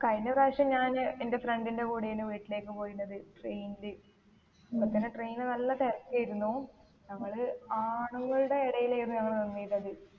കഴിഞ്ഞ പ്രാവിശ്യം ഞാൻ എൻ്റെ friend ന്റെ കൂടെ ആയിനു വീട്ടിലേക്ക് പോയിന്നത് train ൽ അപ്പൊത്തന്നെ train ൽ നല്ല തെരക്കേയിരുന്നു ഞങ്ങള് ആണുങ്ങളുടെ ഇടയിലേരുന്നു ഞങ്ങൾ നിന്നീന്നത്